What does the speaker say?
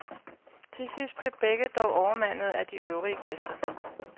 Til sidst blev begge dog overmandet af de øvrige gæster.